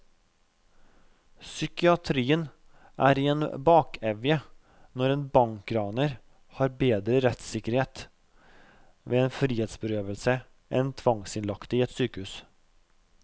Psykiatrien er i en bakevje når en bankraner har bedre rettssikkerhet ved en frihetsberøvelse enn tvangsinnlagte i et sykehus.